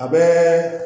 A bɛ